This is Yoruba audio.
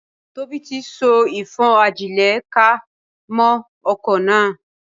Tóbi tí so ìfọ́n-ajílẹ̀-ká mọ́ okò náà.